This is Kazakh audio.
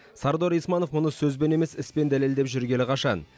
сардор исманов мұны сөзбен емес іспен дәлелдеп жүргелі қашан